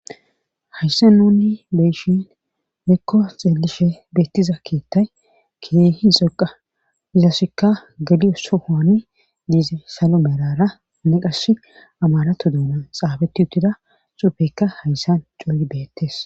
hayssa nunni beyshin heekko xeelishe beettiza keettay kidey hi xoqa izasikka galio sohoane diize salo merara ne qash amarato doonan xaabeti uttida xuufeykka hayssan cooyi beettes